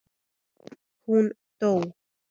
Hún dó.